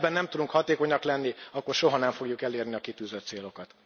Ha ebben nem tudunk hatékonyak lenni, akkor soha nem fogjuk elérni a kitűzött célokat.